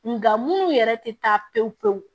Nga munnu yɛrɛ te taa pewu pewu